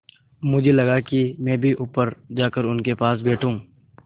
मुझे लगा कि मैं भी ऊपर जाकर उनके पास बैठूँ